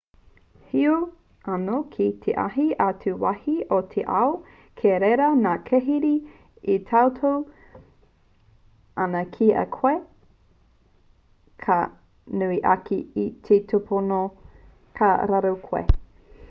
heoi anō ki ētahi atu wāhi o te ao kei reira ngā kīrehe e tauhou ana ki a koe ka nui ake te tupono ka raru koe